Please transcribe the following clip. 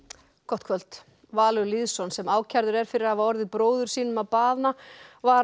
gott kvöld Valur Lýðsson sem ákærður er fyrir að hafa orðið bróður sínum að bana var